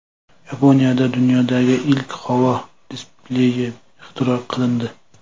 Yaponiyada dunyodagi ilk havo displeyi ixtiro qilindi.